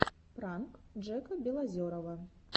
пранк джека белозерова